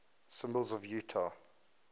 symbols of utah